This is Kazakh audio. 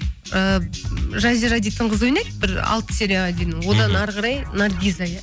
ыыы жазира дейтін қыз ойнайды бір алты серияға дейін одан әрі қарай наргиза иә